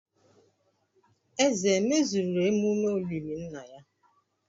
Eze emezuru emume olili nna ya?